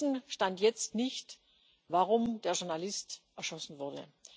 Wir wissen Stand jetzt nicht, warum der Journalist erschossen wurde.